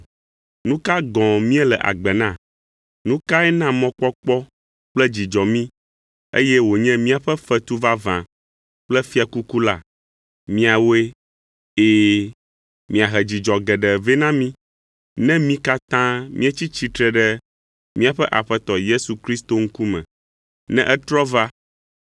Nu ka gɔ̃ míele agbe na? Nu kae na mɔkpɔkpɔ kple dzidzɔ mí, eye wònye míaƒe fetu vavã kple fiakuku la? Miawoe! Ɛ̃, miahe dzidzɔ geɖe vɛ na mí, ne mí katã míetsi tsitre ɖe míaƒe Aƒetɔ Yesu Kristo ŋkume, ne etrɔ va,